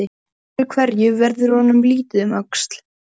Öðru hverju verður honum litið um öxl.